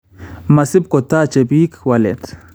Masibkotache biik waleet